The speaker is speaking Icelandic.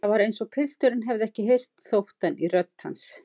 Það var eins og pilturinn hefði ekki heyrt þóttann í rödd hans.